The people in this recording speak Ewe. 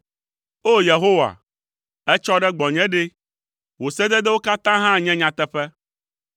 O! Yehowa, ètsɔ ɖe gbɔnye ɖe! Wò sededewo katã hã nye nyateƒe.